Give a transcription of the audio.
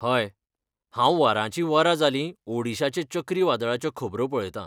हय, हांव वरांचीं वरां जालीं ओडिशाचे चक्री वादळाच्यो खबरो पळयतां.